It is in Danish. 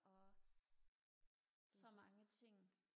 og så mange ting